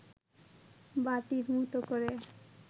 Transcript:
বাটির মতো করে